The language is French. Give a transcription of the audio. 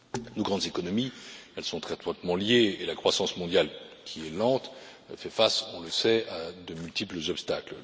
Nos grandes économies sont très étroitement liées, et la croissance mondiale qui est lente fait face, on le sait, à de multiples obstacles.